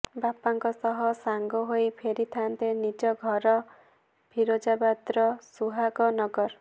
ବାପାଙ୍କ ସହ ସାଙ୍ଗ ହୋଇ ଫେରିଥାନ୍ତେ ନିଜ ଘର ଫିରୋଜାବାଦର ସୁହାଗ ନଗର